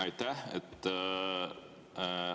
Aitäh!